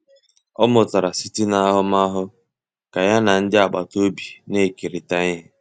Ọ mụtara site n'ahụmahụ ka ya na ndị agbata obi na-ekerịta ihe.